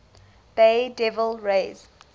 bay devil rays